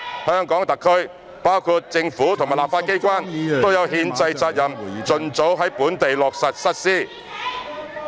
香港特區，包括政府及立法機關，都有憲制責任盡早在本地落實實施。